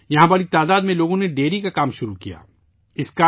یہاں لوگوں کی بڑی تعداد نے ڈیری کا کام شروع کیا